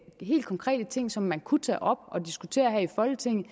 helt konkrete ting som man kunne tage op og diskutere her i folketinget